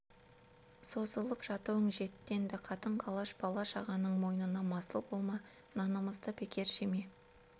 созылып жатуың жетті енді қатын-қалаш бала-шағаның мойнына масыл болма нанымызды бекер жеме